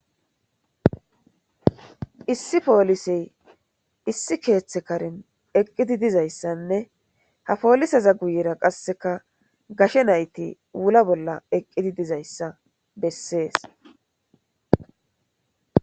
Issi polisey issi keththa karen eqid dizayissanne ha polizezaa guyera qase gashshe nayiti wula bolla eqidi dizayissa besses